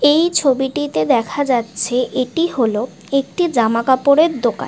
এই ছবিটিতে দেখা যাচ্ছে এটি হলো একটি জামাকাপড় এর দোকান।